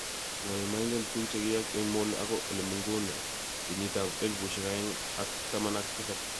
ngo nemaingen tuguk chegiyeyak eng Molo ako olengumone kenyit elbushek aeng ak taman ak tisap